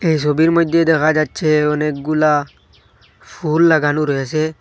এই ছবির মধ্যে দেখা যাচ্ছে অনেকগুলা ফুল লাগানো রয়েছে।